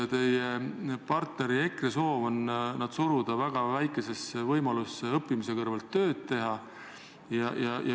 Teie partneri EKRE soov on nad suruda väga väikesesse võimalusse õppimise kõrvalt tööd teha.